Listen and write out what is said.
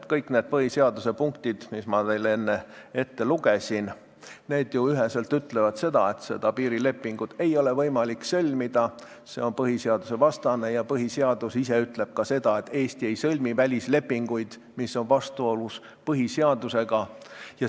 Kõik need põhiseaduse punktid, mis ma teile enne ette lugesin, ütlevad ju üheselt, et seda piirilepingut ei ole võimalik sõlmida, see on põhiseadusvastane, ja põhiseadus ise ütleb, et Eesti ei sõlmi välislepinguid, mis on vastuolus põhiseadusega.